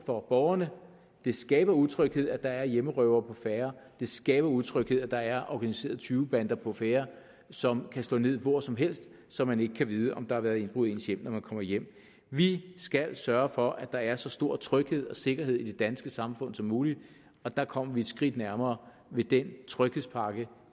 for borgerne det skaber utryghed at der er hjemmerøvere på færde det skaber utryghed at der er organiserede tyvebander på færde som kan slå ned hvor som helst så man ikke kan vide om der har været indbrud i ens hjem når man kommer hjem vi skal sørge for at der er så stor tryghed og sikkerhed i det danske samfund som muligt og det kommer vi et skridt nærmere ved den tryghedspakke